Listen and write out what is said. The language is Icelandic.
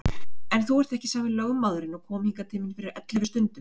En þú ert ekki sami lögmaðurinn og kom hingað til mín fyrir ellefu stundum.